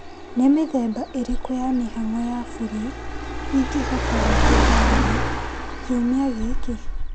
Nĩ mĩthemba ĩrĩkũ ya mĩhang'o ya burĩ ingĩhota gweka taũni kiumia gĩkĩ ?